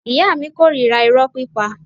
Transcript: Ìyá mi korira iro pípa.